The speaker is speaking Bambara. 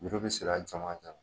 Juru bɛ siri a cɛmancɛ